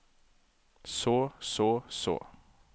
så så så